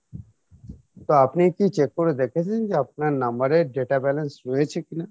তো আপনি কী check করে দেখেছেন যে আপনার number এর data balance রয়েছে কিনা?